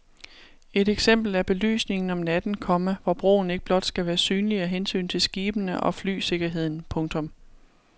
Et eksempel er belysningen om natten, komma hvor broen ikke blot skal være synlig af hensyn til skibene og flysikkerheden. punktum